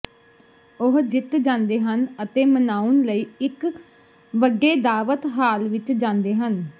ਉਹ ਜਿੱਤ ਜਾਂਦੇ ਹਨ ਅਤੇ ਮਨਾਉਣ ਲਈ ਇੱਕ ਵੱਡੇ ਦਾਅਵਤ ਹਾਲ ਵਿੱਚ ਜਾਂਦੇ ਹਨ